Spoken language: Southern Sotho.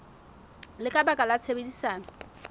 le ka baka la tshebedisano